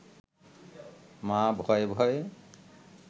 মা ভয়ে ভয়ে